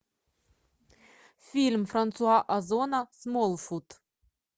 фильм франсуа озона смолфут